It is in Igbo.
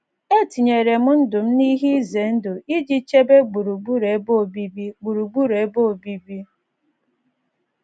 “ Etinyere M Ndụ M n’Ihe Ize Ndụ Iji Chebe Gburugburu Ebe Obibi Gburugburu Ebe Obibi ”